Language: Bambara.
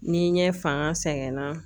Ni ɲɛ fanga sɛgɛnna.